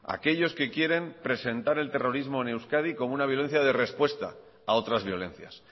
aquellos que quieran presentar el terrorismo en euskadi como una violencia de respuesta a otras violencias